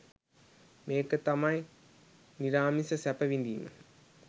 මේක තමයි නිරාමිස සැප විඳීම